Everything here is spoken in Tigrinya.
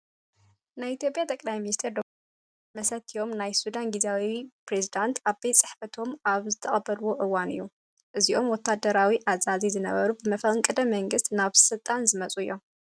ናይ ኢትዮጵያ ጠቅላይ ሚኒስተር ዶ/ር ኣብይ ኣሕመድ ምስ መሰትዮም ናይ ሱዳን ግዚያዊ ፕሬዚዳት ኣብ ቤት ፅሕፈቶም ኣብ ዝተቀበልዎ እዋን እዩ። እዚኦም ወታዳራዊ ኣዛዚ ዝነበሩ ብመፈንቀለ መንግስቲ ናብ ስልጣን ዝመፁ እዮም።